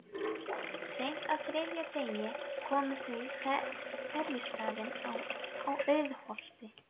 Seint á þriðja degi komu þau á ferjustaðinn í Auðsholti.